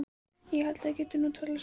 Ég held að við getum nú talað saman!